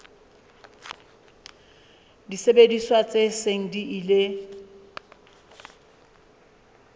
disebediswa tse seng di ile